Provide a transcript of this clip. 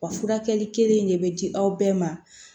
Wa furakɛli kelen in de bɛ di aw bɛɛ ma